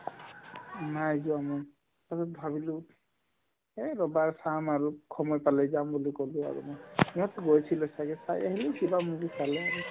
নাই যোৱা নাই তাৰপিছত ভাবিলো এহ্ ৰ'বা চাম আৰু সময় পালে যাম বুলি ক'লো আৰু মই সিহঁতে গৈছিলে ছাগে চাই আহিলে কিবা movie চালে আৰু